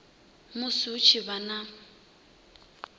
musi hu tshi vha na